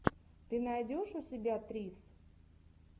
ты найдешь у себя трисс